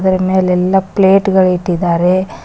ಇದರ ಮೇಲೆ ಎಲ್ಲಾ ಪ್ಲೇಟ್ ಗಳಿಟ್ಟಿದ್ದಾರೆ.